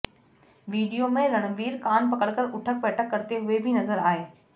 video में रणवीर कान पकड़कर उठक बैठक करते हुए भी नजर आए